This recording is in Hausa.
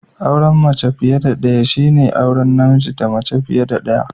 Auren mace fiye da daya shine auren namiji daya da mace fiye da daya